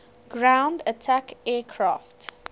ground attack aircraft